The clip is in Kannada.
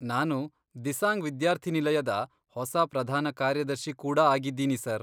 ನಾನು ದಿಸಾಂಗ್ ವಿದ್ಯಾರ್ಥಿ ನಿಲಯದ ಹೊಸ ಪ್ರಧಾನ ಕಾರ್ಯದರ್ಶಿ ಕೂಡ ಆಗಿದ್ದೀನಿ ಸರ್.